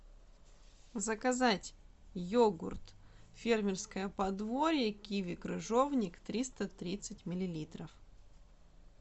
заказать йогурт фермерское подворье киви крыжовник триста тридцать миллилитров